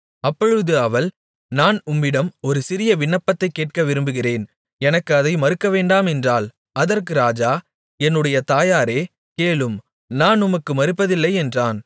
அப்பொழுது அவள் நான் உம்மிடம் ஒரு சிறிய விண்ணப்பத்தைக் கேட்க விரும்புகிறேன் எனக்கு அதை மறுக்கவேண்டாம் என்றாள் அதற்கு ராஜா என்னுடைய தாயாரே கேளும் நான் உமக்கு மறுப்பதில்லை என்றான்